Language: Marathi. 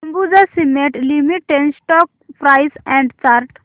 Ambuja cement limited stock price and chart